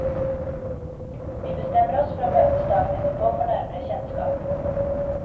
Vi bestemmer oss for å møtes dagen etterpå for nærmere kjennskap.